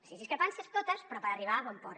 sí discrepàncies totes però per arribar a bon port